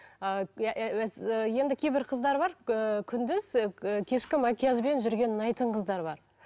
ы енді кейбір қыздар бар ыыы күндіз ыыы кешкі макияжбен жүрген ұнайтын қыздар бар